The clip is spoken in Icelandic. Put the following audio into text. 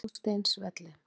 Hásteinsvelli